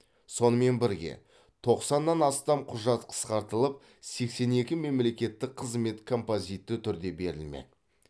сонымен бірге тоқсаннан астам құжат қысқартылып сексен екі мемлекеттік қызмет композитті түрде берілмек